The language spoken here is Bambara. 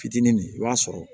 Fitinin min i b'a sɔrɔ